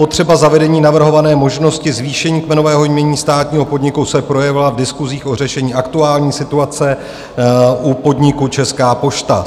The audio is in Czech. Potřeba zavedení navrhované možnosti zvýšení kmenového jmění státního podniku se projevila v diskusích o řešení aktuální situace u podniku Česká pošta.